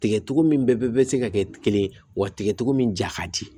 Tigɛtogo min bɛɛ bɛ se ka kɛ kelen ye wa tigɛtogo min ja ka di